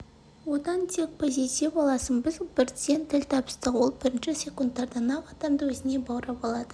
одан тек позитив аласың біз бірден тіл табыстық ол бірінші секундтардан-ақ адамды өзіне баурап алады